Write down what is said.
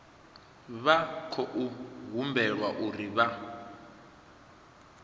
vha khou humbelwa uri vha